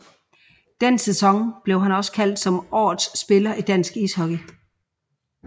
Den sæson blev han også kåret som Årets spiller i dansk ishockey